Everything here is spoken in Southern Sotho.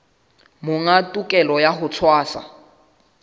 monga tokelo ya ho tshwasa